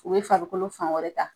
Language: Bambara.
U bɛ farikolo fan wɛrɛ ta.